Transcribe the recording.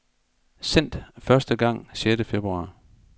Sendt første gang sjette februar.